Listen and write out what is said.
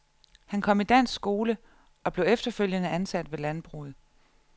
Han kom i dansk skole og blev efterfølgende ansat ved landbruget.